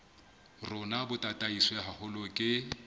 rona bo tataiswe haholo ke